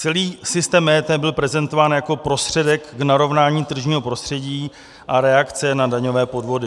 Celý systém EET byl prezentován jako prostředek k narovnání tržního prostředí a reakce na daňové podvody.